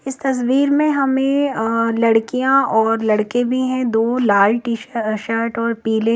इस तस्बीर में हमें अ लड़कियाॅं और लड़के भी हैं दो लाल टी_शर्ट और पिले--